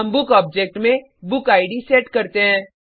हम book object में book id set करते हैं